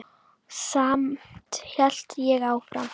Samt hélt ég áfram.